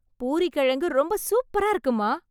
பூரி கிழங்கு ரொம்ப சூப்பரா இருக்கு அம்மா